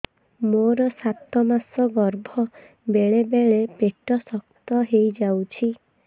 ମୋର ସାତ ମାସ ଗର୍ଭ ବେଳେ ବେଳେ ପେଟ ଶକ୍ତ ହେଇଯାଉଛି